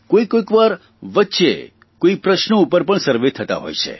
કોઇકોઇ વાર વચ્ચે કોઇ પ્રશ્નો ઉપર પણ સર્વે થતા હોય છે